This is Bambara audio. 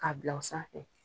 Ka bila o sanfɛ.